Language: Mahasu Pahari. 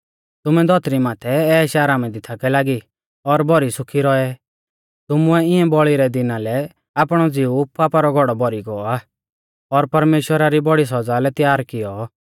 तुमै धौतरी माथै ऐशआरामा दी थाकै लागी और भौरी सुखी रौऐ तुमुऐ इऐं बौल़ी रै दिना लै आपणौ ज़िऊ पापा रौ घौड़ौ भौरी गौ आ और परमेश्‍वरा री बौड़ी सौज़ा लै त्यार कियौ